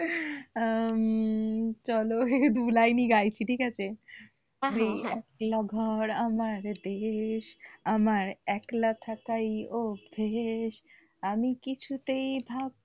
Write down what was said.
হম চলো এই দুলাইনই গাইছি ঠিক আছে, এই একলা ঘর আমার দেশ আমার একলা থাকাই অভ্যেস আমি কিছুতেই ভাব,